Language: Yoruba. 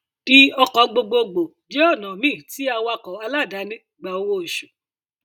di ọkọ gbogbogbò jẹ ọnà míì tí awakọ aláàdáni gbà owó oṣù